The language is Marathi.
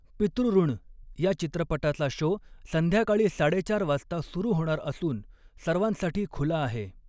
पितृऋण या चित्रपटाचा शो संध्याकाळी साडे चार वाजता सुरु होणार असून सर्वांसाठी खुला आहे.